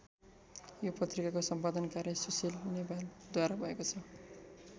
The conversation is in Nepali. यो पत्रिकाको सम्पादन कार्य सुशील नेपालद्वारा भएको छ।